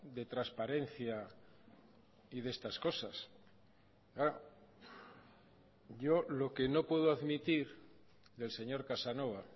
de transparencia y de estas cosas yo lo que no puedo admitir del señor casanova